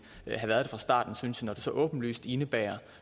have været fra starten synes jeg når det så åbenlyst indebærer